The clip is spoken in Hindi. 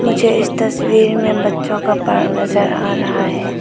मुझे इस तस्वीर में बच्चों का पार्क नजर आ रहा है।